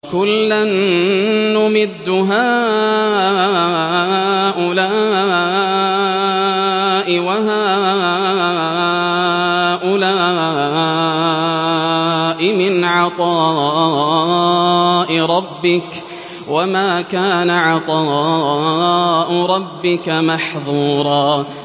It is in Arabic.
كُلًّا نُّمِدُّ هَٰؤُلَاءِ وَهَٰؤُلَاءِ مِنْ عَطَاءِ رَبِّكَ ۚ وَمَا كَانَ عَطَاءُ رَبِّكَ مَحْظُورًا